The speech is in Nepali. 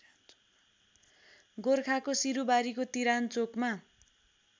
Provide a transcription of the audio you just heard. गोरखाको सिरूबारीको तिरानचोकमा